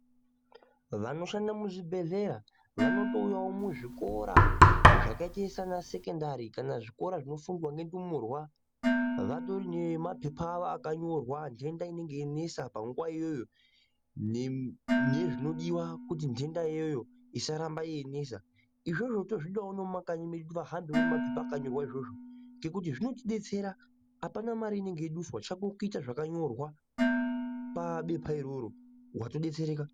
Vanoshanda muzvibhedhlera vanotouyawo muzvikora zvakaite sana sekendari kana zvikora zvinofundwa nendumurwa vatori nemapepa avo akanyorwa ndenda inenge yeinesa panguwa iyoyo nezvinodiwa kuti nhenda iyoyo isaramba yeinesa, izvozvo tozvidawo nemumakanyi medu vahambewo nemapepa akanyorwa izvozvo ngekuti zvinotidetsera apana mare inenge yeiduswa chako kuita zvakanyorwa pabepa iroro watodetsereka.